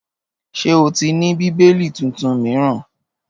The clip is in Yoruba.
Ṣé o ti ní Bíbélì tuntun míràn?